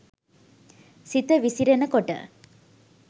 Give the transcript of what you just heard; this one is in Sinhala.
සිත විසිරෙන කොට